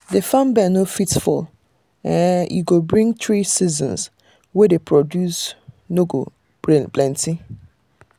the farm bell no fit fail - e go bring three season wey the produce no go plenty.